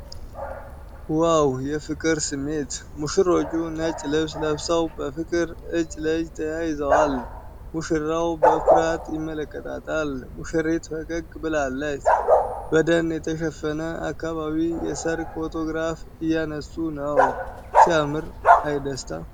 ዋው የፍቅር ስሜት! ሙሽሮች ነጭ ልብስ ለብሰው በፍቅር እጅ ለእጅ ተያይዘዋል። ሙሽራው በኩራት ይመለከታታል፣ ሙሽሪት ፈገግ ብላለች። በደን የተሸፈነ አካባቢ የሠርግ ፎቶግራፍ እያነሱ ነው። ሲያምር፣ አይ ደስታ!